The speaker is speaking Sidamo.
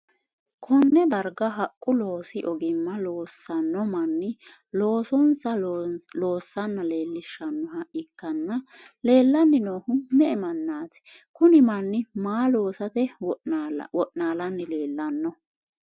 konne darga haqqu loosi ogimma loosanno manni loosonsa loosanna leelishshannoha ikkanna, leellanni noohu me''e mannati? kuni manni maa loosate wo'naalanni leellanno?